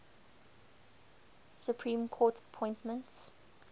supreme court appointments